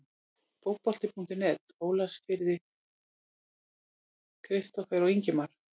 Fótbolti.net Ólafsfirði- Kristófer og Ingimar